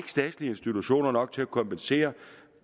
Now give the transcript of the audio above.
statslige institutioner nok til at kompensere